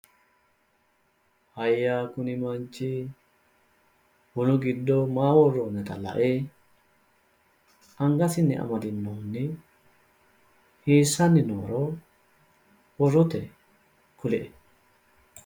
Hayya kuni manchi bunu giddo maa worroonnita la"e angasinni amdinohunni hiissanni nooro borrotenni kulu"e?